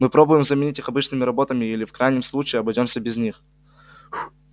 мы попробуем заменить их обычными работами или в крайнем случае обойдёмся без них